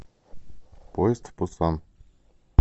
поезд в пусан